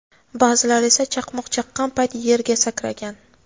Ba’zilar esa chaqmoq chaqqan payt yerga sakragan.